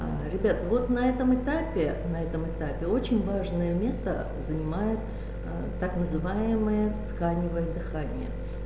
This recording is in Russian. ребят вот на этом этапе на этом этапе очень важное место занимает так называемое тканевое дыхание